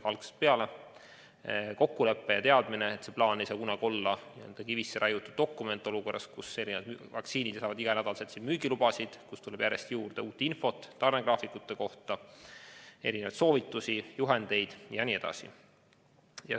Juba algusest peale oli kokku lepitud, et see plaan ei saa kunagi olla kivisse raiutud dokument olukorras, kus uued vaktsiinid saavad iganädalaselt müügilubasid ning järjest tuleb juurde uut infot tarnegraafikute kohta, mitmesuguseid soovitusi, juhendeid jne.